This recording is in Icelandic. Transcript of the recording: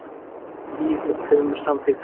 Tíu gegn tveimur, samþykkti hann.